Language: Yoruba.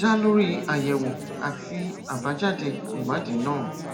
dá lórí àyẹwò àti àbájáde ìwádìí náà